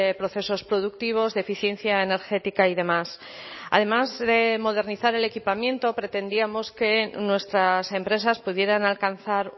procesos productivos de eficiencia energética y demás además de modernizar el equipamiento pretendíamos que nuestras empresas pudieran alcanzar